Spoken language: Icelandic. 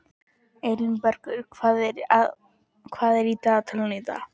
Elínbergur, hvað er í dagatalinu í dag?